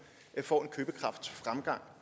får en købekraftsfremgang